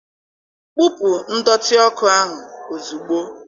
Kpupu ndọtị ọkụ ahụ ozugbo!